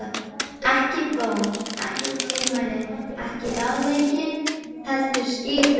Ekki bón, ekki tilmæli, ekki ráðlegging, heldur skipun.